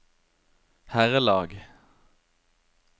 herrelag